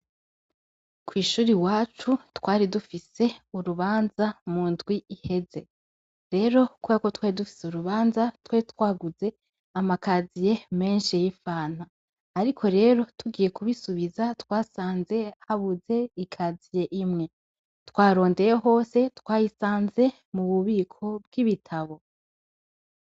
kwishuri iwacu twari dufise urubanza mu ndwi iheze rero kubako twari dufise urubanza twari twaguze amakaziye menshi y'ifana ariko rero tugiye kubisubiza twasanze habuze ikaziye imwe twarondeye hose twayisanze mu bubiko bw'ibitabo